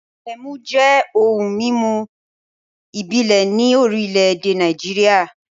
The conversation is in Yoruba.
Ẹmu jẹ́ ohun-mímu ìbílẹ̀ ní orílẹ̀-èdè Nàìjíríà.